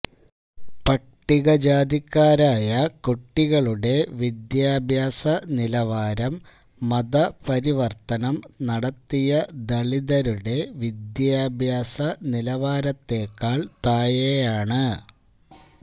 പട്ടികജാതിക്കാരായ കുട്ടികളുടെ വിദ്യാഭ്യാസ നിലവാരം മതപരിവര്ത്തനം നടത്തിയ ദളിതരുടെ വിദ്യാഭ്യാസ നിലവാരത്തെക്കാള് താഴെയാണ്